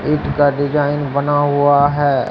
ईट का डिजाइन बना हुआ है।